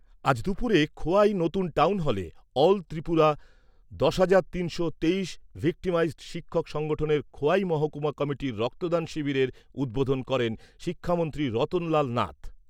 আজ দুপুরে খোয়াই নতুন টাউন হলে অল ত্রিপুরা দশ হাজার তিনশো তেইশ ভিকটিমাইজড শিক্ষক সংগঠনের খোয়াই মহকুমা কমিটির রক্তদান শিবিরের উদ্বোধন করেন শিক্ষামন্ত্রী রতনলাল নাথ।